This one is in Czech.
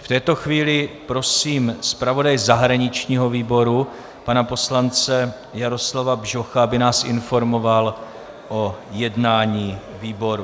V této chvíli prosím zpravodaje zahraničního výboru pana poslance Jaroslava Bžocha, aby nás informoval o jednání výboru.